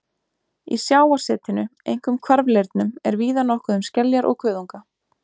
Í sjávarsetinu, einkum hvarfleirnum, er víða nokkuð um skeljar og kuðunga.